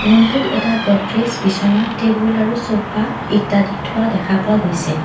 ৰুমটোত এটা গ'দ্ৰেজ বিছনা টেবুল আৰু ছ'ফা ইত্যাদি থোৱা দেখা পোৱা গৈছে।